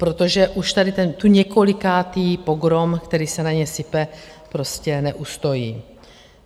Protože už tady ten několikátý pogrom, který se na ně sype, prostě neustojí.